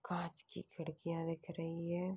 कांच की खिड़किया दिख रही हैं।